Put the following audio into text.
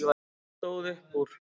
Hún stóð upp úr.